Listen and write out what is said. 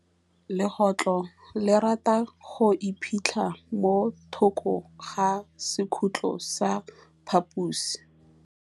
Legôtlô le rata go iphitlha mo thokô ga sekhutlo sa phaposi.